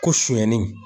Ko sonyani